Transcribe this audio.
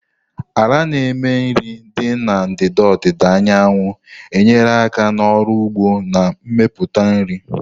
Ala na-eme nri dị na ndịda ọdịda anyanwụ nyere aka n'ọrụ ugbo na mmepụta nri.